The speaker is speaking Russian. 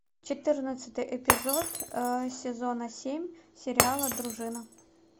четырнадцатый эпизод сезона семь сериала дружина